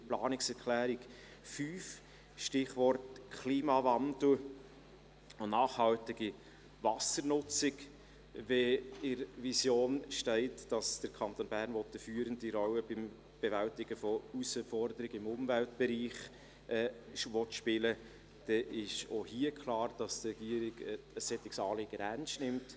Zu Planungserklärung 5, Stichwort «Klimawandel und nachhaltige Wassernutzung»: Wenn in der Vision steht, dass der Kanton Bern eine führende Rolle bei der Bewältigung von Herausforderungen im Umweltbereich spielen will, ist es klar, dass die Regierung ein solches Anliegen ernst nimmt.